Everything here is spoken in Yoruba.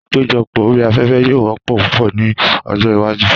Àpéjọpọ̀ orí afẹ́fẹ́ yóò wọ́pọ̀ púpọ̀ ní ọjọ́ iwájú.